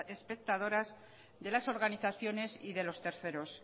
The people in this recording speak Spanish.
espectadoras de las organizaciones y de los terceros